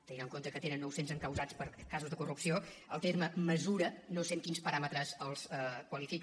tenint en compte que tenen nou cents encausats per casos de corrupció el terme mesura no sé amb quins paràmetres el qualifica